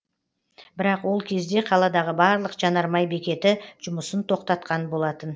бірақ ол кезде қаладағы барлық жанармай бекеті жұмысын тоқтатқан болатын